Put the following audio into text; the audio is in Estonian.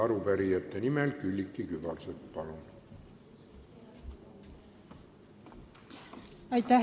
Arupärijate nimel Külliki Kübarsepp, palun!